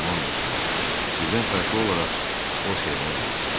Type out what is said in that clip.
Alman dostum, sizdən fərqli olaraq o sevinə bilir.